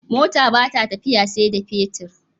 Mota bata tafiya sai da fetir